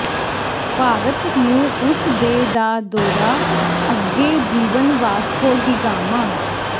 ਭਾਰਤ ਨੂੰ ਉਸ ਦੇ ਦਾ ਦੌਰਾ ਅੱਗੇ ਜੀਵਨ ਵਾਸਕੋ ਡੀ ਗਾਮਾ